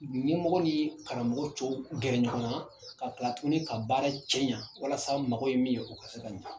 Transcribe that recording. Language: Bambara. Nin ɲɛmɔgɔ ni ye karamɔgɔ tɔw bɛn ɲɔgɔn na ka tila tuguni ka baara cɛ ɲɛ walasa mago ye min ye o ka se ka ɲɛ